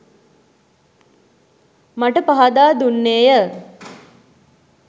මට පහදා දුන්නේ ය.